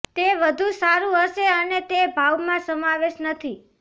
તે વધુ સારું હશે અને તે ભાવમાં સમાવેશ નથી